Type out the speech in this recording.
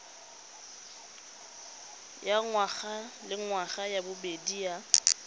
ya ngwagalengwaga ya bobedi ya